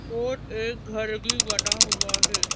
और एक घर भी बना हुआ है।